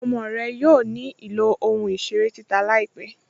Ọmọ rẹ yóò ní ilọ̀ ohun-iṣèrè títà láípẹ̀.